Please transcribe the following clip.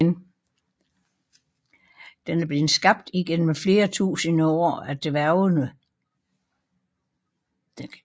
Den er blevet skabt igennem flere tusinde år af dværgene